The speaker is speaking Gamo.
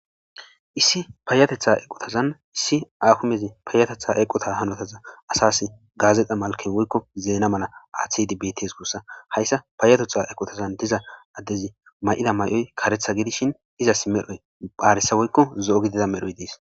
Issi payateththa eqqotazan issi hakimezi payateththa eqqota hanotaza asasi gazzeta malken woykko zeena malla aththidi bettes gussako hayssa payateththa eqqotan diiza adezi mayida mayoyi kareththa giddishin izzasi medhoy aaressa woykko zo'o mehoy dessi.